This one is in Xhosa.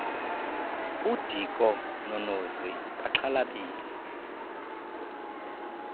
udiko nonozi baxhalabile